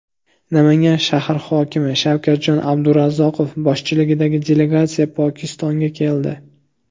Namangan shahri hokimi Shavkatjon Abdurazzoqov boshchiligidagi delegatsiya Pokistonga keldi.